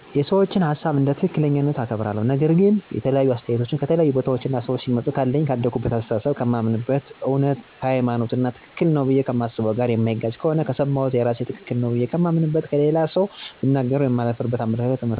የሰዎችን ሀሳብ እንደ ትክክለኛነታቸው አከብራለሁ፤ ነገር ግን የተለያዩ አስተያየቶች ከተለያዩ ቦታዎች እና ሰዎች ሲመጡ ካለኝ የአደኩበት አሰተሳሰብ፣ ከማምንበት እውነት፣ ከሀይማኖቴ እና ትክክል ነው ብዬ ከማስበው ነገር ጋር የማይጋጭ ከሆነ ከሰማሁት አስተያየት የራሴን ትክክል ነው ብዬ የማምንበትን እና ለሌላ ሠው ብናገረው የማላፍርበትን አመለካከት እመሰርታለሁ።